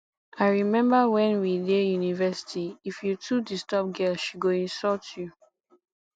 i rememba wen we dey university if you too disturb girl she go insult you